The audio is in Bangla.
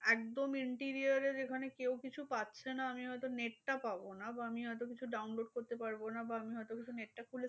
একদম interior এ যেখানে কেউ কিছু পাচ্ছে না আমি হয়তো net টা পাবো না। বা আমি হয়তো কিছু download করতে পারবো না। বা আমি হয়তো কিছু net টা খুলে